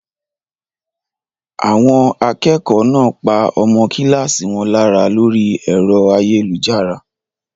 Àwọn akẹ́kọ̀ọ́ náà pa ọmọ kíláàsì wọn lára lórí ẹ̀rọ ayélujára?